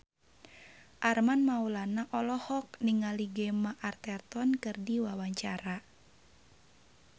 Armand Maulana olohok ningali Gemma Arterton keur diwawancara